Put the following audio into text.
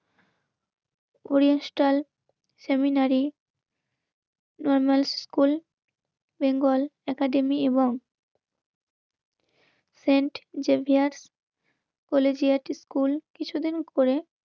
Oriental seminary normal school, Bengal, academy এবং ফ্রেন্ড Xavier বলে যে একটা স্কুল কিছুদিন পরে